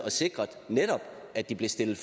sikre at de blev stillet